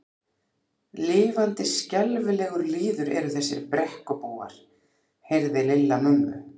Lifandi skelfilegur lýður eru þessir Brekkubúar. heyrði Lilla mömmu